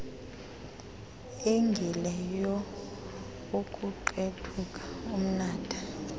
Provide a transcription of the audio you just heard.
engile youkuqethuka umnatha